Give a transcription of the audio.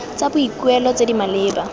tsa boikuelo tse di maleba